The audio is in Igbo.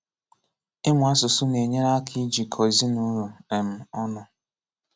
Ịmụ asụsụ na-enyere aka ijikọ ezinụlọ um ọnụ